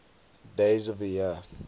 days of the year